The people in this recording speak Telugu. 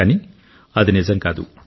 కానీ అది నిజం కాదు